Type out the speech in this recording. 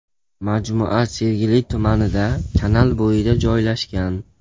Majmua Sergeli tumanida kanal bo‘yida joylashgan.